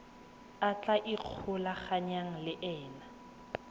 a tla ikgolaganyang le ena